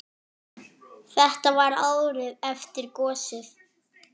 Þetta var árið eftir gosið.